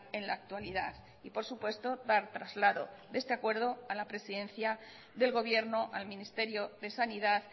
en la actualidad y por supuesto dar traslado de este acuerdo a la presidencia del gobierno al ministerio de sanidad